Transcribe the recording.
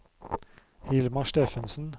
Hilmar Steffensen